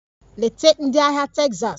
Nleta ndị ahịa Texas!